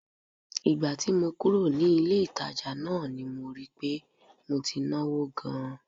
Ìgbà tí mo kúrò ní ilé-ìtàjà náà ni rí i pé mo ti náwó gan-an